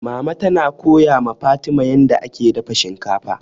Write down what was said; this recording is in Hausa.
Mama tana koya ma Fatima yanda ake dafa shinkafa.